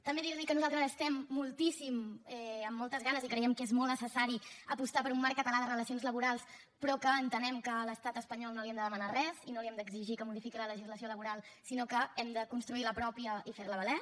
també dir li que nosaltres estem moltíssim amb moltes ganes i creiem que és molt necessari apostar per un marc català de relacions laborals però que entenem que a l’estat espanyol no li hem de demanar res i no li hem d’exigir que modifiqui la legislació laboral sinó que hem de construir la pròpia i fer la valer